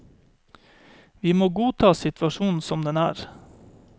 Vi må godta situasjonen som den er.